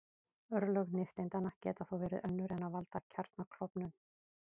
Örlög nifteindanna geta þó verið önnur en að valda kjarnaklofnun.